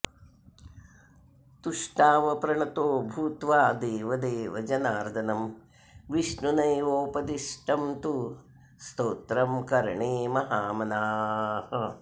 तुष्टाव प्रणतो भूत्वा देवदेव जनार्दनम् विष्णुनैवोपदिष्टं तु स्तोत्रं कर्णे महामनाः